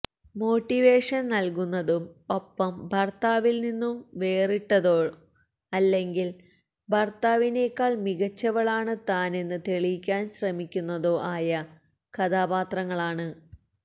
മോട്ടിവേഷന് നല്കുന്നതും ഒപ്പം ഭര്ത്താവില് നിന്നും വേറിട്ടതോ അല്ലെങ്കില് ഭര്ത്താവിനേക്കാള് മികച്ചവളാണ് താന് എന്ന് തെളിയിക്കാന് ശ്രമിക്കുന്നതോ ആയ കഥാപാത്രങ്ങളാണ്